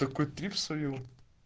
какой трип словил